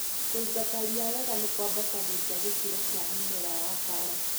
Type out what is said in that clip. Kũingata ria wega nĩkwambatagĩrĩa gĩkĩro kĩa mĩmera ya karati.